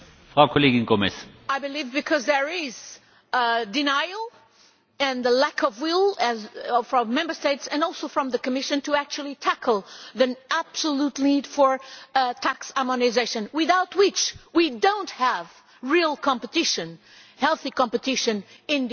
I believe this because there is denial and the lack of will from Member States and also from the Commission to actually tackle the absolute need for tax harmonisation, without which we do not have real competition, healthy competition in the internal market.